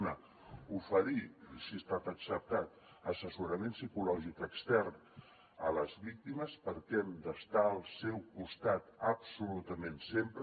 una oferir si ha estat acceptat assessorament psicològic extern a les víctimes perquè hem d’estar al seu costat absolutament sempre